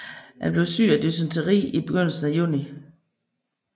Han blev syg dysenteri i begyndelsen af juni